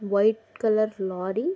white colour lorry --